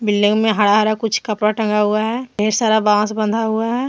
हरा हरा कुछ कपड़ा टंगा हुआ है ढेर सारा बांस बना हुआ है।